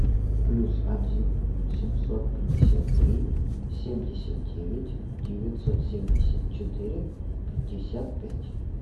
плюс один семьсот пятьдесят три семьдесят девять девятьсот семьдесят четыре пятьдесят пять